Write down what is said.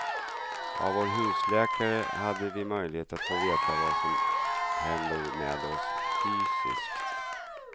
Av vår husläkare hade vi möjlighet att få veta vad som händer med oss fysiskt.